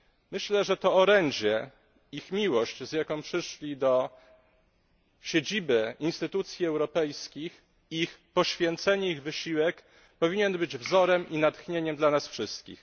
Myślę, że to orędzie, ich miłość, z jaką przyszli do siedziby instytucji europejskich, ich poświęcenie, ich wysiłek powinien być wzorem i natchnieniem dla nas wszystkich.